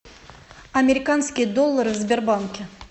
американские доллары в сбербанке